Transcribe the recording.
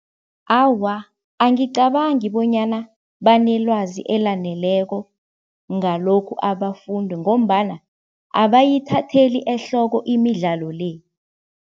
Awa, angicabangi bonyana banelwazi elaneleko ngalokhu abafundi ngombana abayithatheli ehloko imidlalo le.